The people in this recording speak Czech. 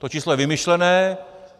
To číslo je vymyšlené.